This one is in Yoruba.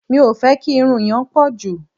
Mi ò fẹ́ kí irun yẹn pọ̀ jù.